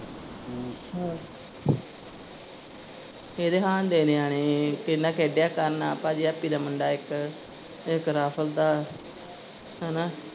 ਹਮ ਇਹਦੇ ਹਾਣ ਦੇ ਨਿਆਣੇ ਇਹਦੇ ਨਾਲ ਖੇਡਿਆ ਕਰਨ ਭਾਜੀ ਹੈਪੀ ਦਾ ਮੁੰਡਾ ਇੱਕ ਇੱਕ ਰਾਹੁਲ ਦਾ ਹੈਨਾ।